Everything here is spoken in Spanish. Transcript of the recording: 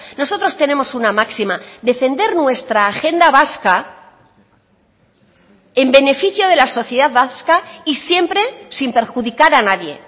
nosotros tenemos una máxima defender nuestra agenda vasca en beneficio de la sociedad vasca y siempre sin perjudicar a nadie